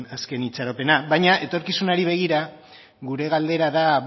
azken itxaropena baina etorkizunari begira gure galdera da